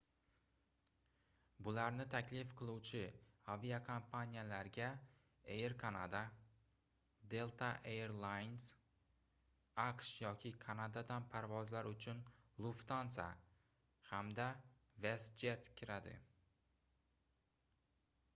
bularni taklif qiluvchi aviakompaniyalarga air canada delta air lines aqsh yoki kanadadan parvozlar uchun lufthansa hamda westjet kiradi